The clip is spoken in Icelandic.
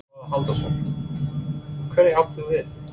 Svavar Halldórsson: Hverja áttu við?